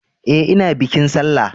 E, ina bikin sallah.